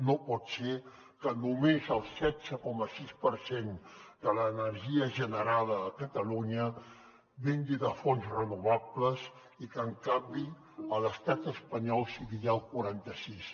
no pot ser que només el setze coma sis per cent de l’energia generada a catalunya vingui de fonts renovables i que en canvi a l’estat espanyol sigui ja el quaranta sis